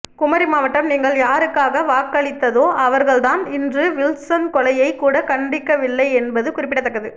குமரி மாவட்டம் நீங்கள் யாருக்காக வாக்களித்ததோ அவர்கள் தான் இன்று வில்சன் கொலையை கூட கண்டிக்கவில்லை என்பது குறிப்பிடத்தக்கது